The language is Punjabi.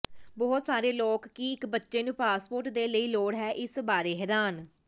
ਬਹੁਤ ਸਾਰੇ ਲੋਕ ਕੀ ਇੱਕ ਬੱਚੇ ਨੂੰ ਪਾਸਪੋਰਟ ਦੇ ਲਈ ਲੋੜ ਹੈ ਇਸ ਬਾਰੇ ਹੈਰਾਨ